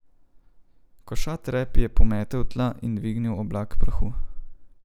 Košat rep je pometel tla in dvignil oblak prahu.